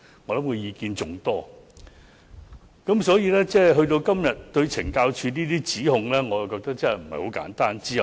我認為部分議員剛才對懲教署的指控，內容並不簡單。